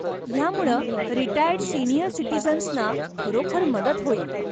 ह्यामुळं retired senior सिटिझन्सना खरोखर मदत होईल.